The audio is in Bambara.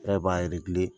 E b'a